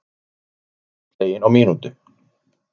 Íbúð slegin á mínútu